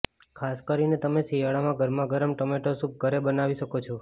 ખાસ કરીને તમે શિયાળામાં ગરમા ગરમ ટોમેટો સૂપ ઘરે બનાવી શકો છો